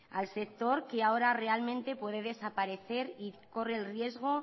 al sector que ahora realmente puede desaparecer y corre el riesgo